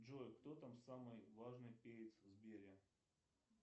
джой кто там самый важный перец в сбере